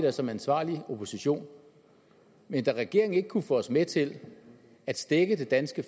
der som ansvarlig opposition men da regeringen ikke kunne få os med til at stække det danske